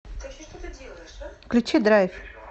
включи драйв